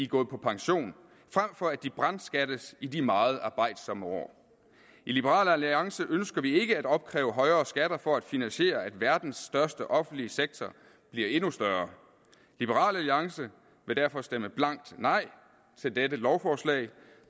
gået på pension frem for at de brandskattes i de meget arbejdsomme år i liberal alliance ønsker vi ikke at opkræve højere skatter for at finansiere at verdens største offentlige sektor bliver endnu større liberal alliance vil derfor stemme blankt nej til dette lovforslag